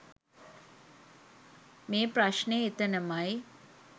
මේ ප්‍රශ්නය එතනමයි.